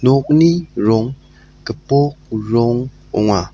okni rong gipok rong ong·a.